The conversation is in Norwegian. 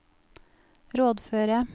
rådføre